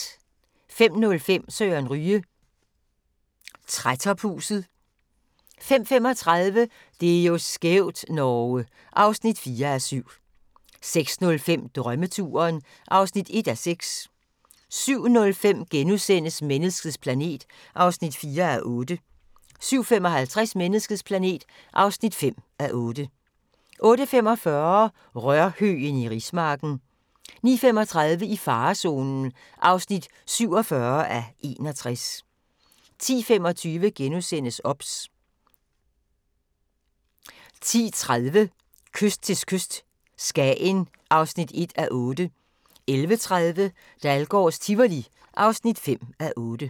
05:05: Søren Ryge: Trætophuset 05:35: Det er jo skævt, Norge! (4:7) 06:05: Drømmeturen (1:6) 07:05: Menneskets planet (4:8)* 07:55: Menneskets planet (5:8) 08:45: Rørhøgen i rismarken 09:35: I farezonen (47:61) 10:25: OBS * 10:30: Kyst til kyst - Skagen (1:8) 11:30: Dahlgårds Tivoli (5:8)